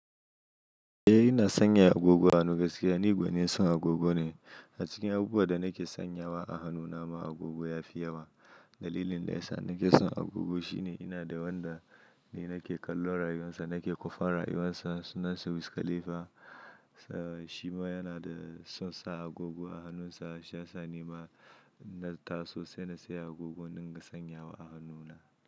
Eh ina sanya agogo a hannu gaskiya ni gwanin sa agogo ne. A cikin abubuwan da nake sanyawa a hannuna ma agogo ya fi yawa. Dalilin da ya sa nake son agogo shine ina da wanda ne nake kallo rayuwarsa nake kwafan rayuwarsa sunansa Wiz Khalifa. Shima yana da son sa agogo a hannunsa shi ya sa ni ma na taso sai na saya agogo in dinga sanyawa a hannuna.